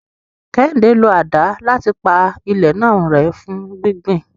Kehinde ń lo àdá láti pa ilẹ̀ náà rẹ́ fún gbígbìn.